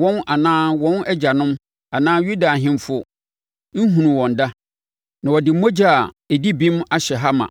wɔn anaa wɔn agyanom, anaa Yuda ahemfo nhunuu wɔn da, na wɔde mogya a ɛdi bem ahyɛ ha ma.